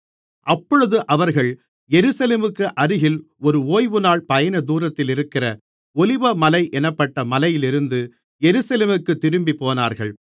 அப்பொழுது அவர்கள் எருசலேமுக்கு அருகில் ஒரு ஓய்வுநாள் பயணதூரத்திலிருக்கிற ஒலிவமலை என்னப்பட்ட மலையிலிருந்து எருசலேமுக்குத் திரும்பிப்போனார்கள்